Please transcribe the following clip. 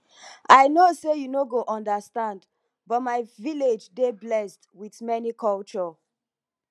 i no say you no go understand but my village dey blessed with many culture